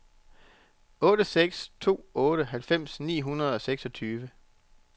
otte seks to otte halvfems ni hundrede og seksogtyve